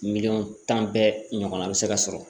Miliyɔn tan bɛɛ ɲɔgɔnna bɛ se ka sɔrɔ